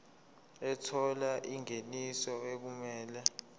ethola ingeniso okumele